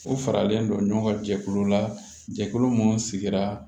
U faralen don ɲɔgɔn kan jɛkulu la jɛkulu minnu sigira